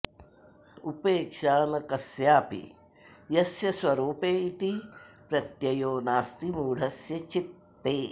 उपेक्षा न कस्यापि यस्य स्वरूपे इति प्रत्ययो नास्ति मूढस्य चित्ते